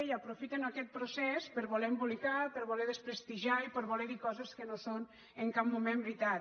i aprofiten aquest procés per voler embolicar per voler desprestigiar i per voler dir coses que no són en cap moment veritat